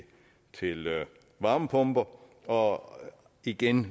varmepumper og igen